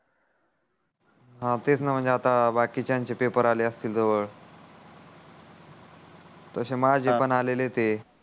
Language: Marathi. हा तेच ना म्हणजे बाकीचयानचे पेपर आले असतील जवड तक्षे माझे पण आलेले आहे